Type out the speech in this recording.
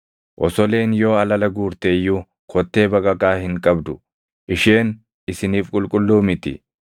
Osoleen yoo alala guurte iyyuu kottee baqaqaa hin qabdu; isheen isiniif qulqulluu miti.